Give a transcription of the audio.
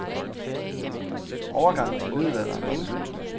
Overgangen til middelalderen var begyndt.